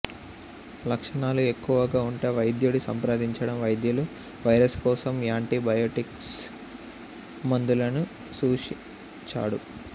లక్షణాలు ఎక్కువ గా ఉంటే వైద్యుడి సంప్రదించడం వైద్యులు వైరస్ కోసం యాంటీబయాటిక్స్ మందులను సూచించడు